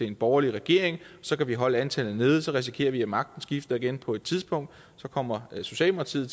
en borgerlig regering så kan vi holde antallet nede så risikerer vi at magten skifter igen på et tidspunkt og så kommer socialdemokratiet